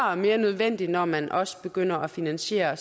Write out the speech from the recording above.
og mere nødvendig når man også begynder at finansiere